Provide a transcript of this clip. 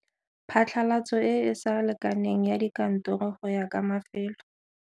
Phatlalatso e e sa lekaneng ya dikantoro go ya ka mafelo.